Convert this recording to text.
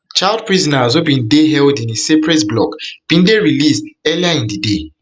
child prisoners wey bin dey held in a separate block bin dey released earlier in di day